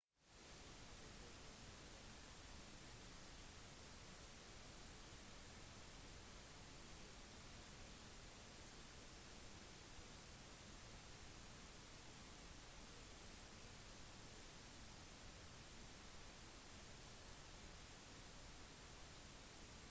etter de innledende militære tilbakeslagene klarte ethelred å bli enige om vilkårene med olaf som vendte tilbake til norge for å forsøke å vinne kongeriket sitt med blandet suksess